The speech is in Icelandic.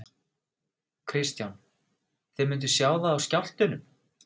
Kristján: Þið mynduð sjá það á skjálftunum?